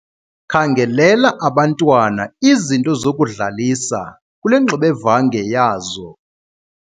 Khangelela abantwana izinto zokudlalisa kule ngxubevange yazo.